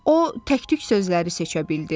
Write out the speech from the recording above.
O təktük sözləri seçə bildi.